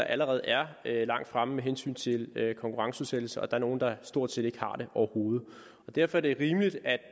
allerede er langt fremme med hensyn til konkurrenceudsættelse og der er nogle der stort set ikke har det overhovedet derfor er det rimeligt at